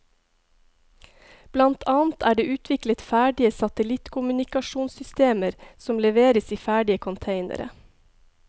Blant annet er det utviklet ferdige satellittkommunikasjonssystmer som leveres ferdig i containere.